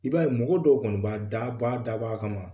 I b'a ye mɔgɔw dɔw kɔni ba daba daba a kama